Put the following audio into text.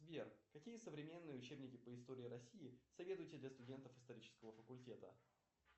сбер какие современные учебники по истории россии советуете для студентов исторического факультета